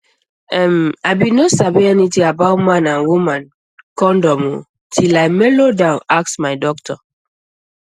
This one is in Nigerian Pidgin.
em i bin no sabi anything about man and woman condom o till i melodown ask my doctor